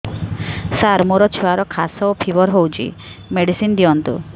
ସାର ମୋର ଛୁଆର ଖାସ ଓ ଫିବର ହଉଚି ମେଡିସିନ ଦିଅନ୍ତୁ